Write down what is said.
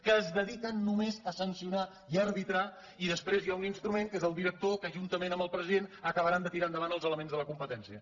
que es dediquen només a sancio·nar i a arbitrar i després hi ha un instrument que és el director que juntament amb el president acabaran de tirar endavant els elements de la competència